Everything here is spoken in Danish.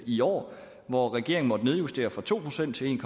i år hvor regeringen måtte nedjustere fra to procent til en